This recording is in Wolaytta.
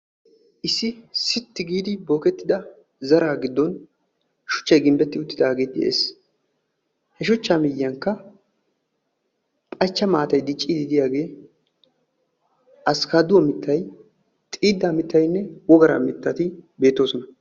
Issi sitti giidi bookettida zaraa giddon shuchchay ginbbetid uttidaage de'ees. He shuchcha miyyiyankka phachcha maatay diccidi diyaage askkaduwa mittay, xiida mittaynne wogaara mittati beettoosona.